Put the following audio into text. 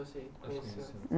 você conheceu